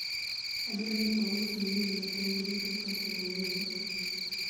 adwa ni aus ni minwa tong' duto kasto wawuog